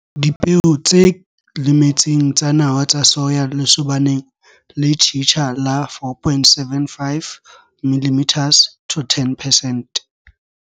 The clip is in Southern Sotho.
Dipeo tse lemetseng tsa nawa tsa soya lesobaneng le tjhitja la 4,75 mm - 10 percent.